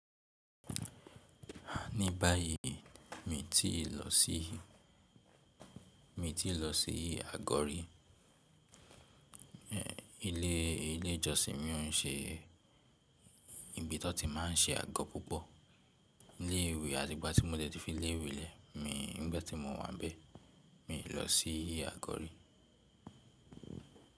Ní báyìí mi ti lọ sí, mi ti lọ sí àgọ́ rí. Ilé, ilé ìjọsìn mí o ń ṣe ibi tan ti máa ń ṣe àgọ́ púpọ̀. Ilé ìwé àti ìgbà tí mo dẹ́ tì fi ilé ìwé lẹ́, mi nígbà tí mo wà ń bẹ́ẹ̀, mi lọ sí àgọ́ rí.